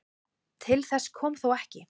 Til þess kom þó ekki.